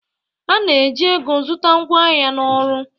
A na-eji ego zụta ngwaahịa na ọrụ.